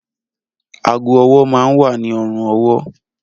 Aago-ọwọ́ máa ń wà ní ọrùn-ọwọ́